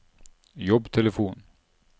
jobbtelefon